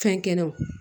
Fɛnkɛnɛw